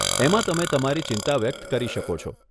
એમાં તમે તમારી ચિંતા વ્યક્ત કરી શકો છે.